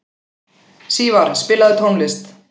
Sívar, spilaðu tónlist.